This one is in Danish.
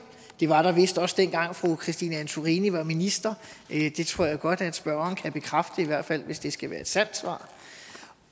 det var der vist også dengang fru christine antorini var minister det tror jeg godt at spørgeren kan bekræfte i hvert fald hvis det skal være et sandt svar